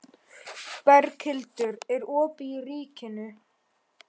Berghildur, er opið í Ríkinu?